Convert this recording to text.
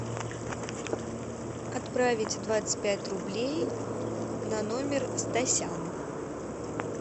отправить двадцать пять рублей на номер стасян